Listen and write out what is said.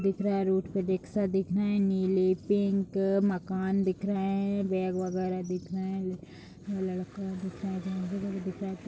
दिख रहे हैं रोड पे रिक्सा दिख रहे हैं नीलें पिंक मकान दिख रहे हैं बैग वगैरा दिख रहे हैं लड़का दिख रहा है । दिख रहा है--